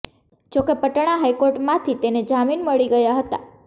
જો કે પટણા હાઈકોર્ટમાંથી તેને જામીન મળી ગયા હતાં